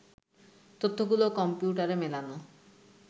তথ্যগুলো কম্পিউটারে মেলানো